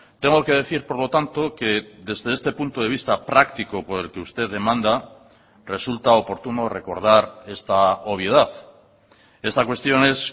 tengo que decir por lo tanto que desde este punto de vista práctico por el que usted demanda resulta oportuno recordar esta obviedad esta cuestión es